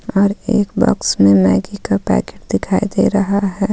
और एक बॉक्स में मैगी का पैकेट दिखाई दे रहा है.